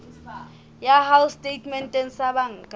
ya hao setatementeng sa banka